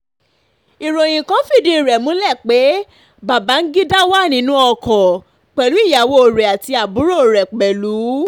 ìròyìn kan fìdí rẹ̀ múlẹ̀ pé babangida wà nínú ọkọ pẹ̀lú ìyàwó rẹ̀ àti àbúrò rẹ̀ pẹ̀lú